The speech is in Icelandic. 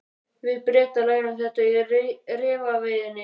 Við Bretar lærum þetta í refaveiðinni.